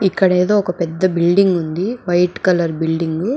ఇక్కడ ఏదో ఒక పెద్ద బిల్డింగ్ ఉంది వైట్ కలర్ బిల్డింగ్ --